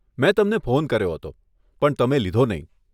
મેં તમને ફોન કર્યો હતો, પણ તમે લીધો નહીં.